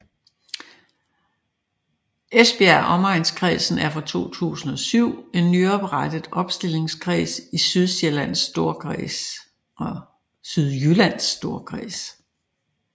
Esbjerg Omegnskredsen er fra 2007 en nyoprettet opstillingskreds i Sydjyllands Storkreds